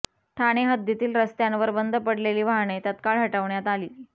ठाणे हद्दीतील रस्त्यांवर बंद पडलेली वाहने तत्काळ हटवण्यात आली